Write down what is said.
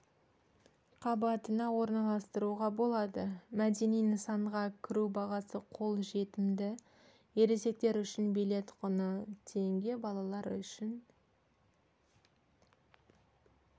қабатына орналастыруға болады мәдени нысанға кіру бағасы қолжетімді ересектер үшін билет құны теңге балалар үшін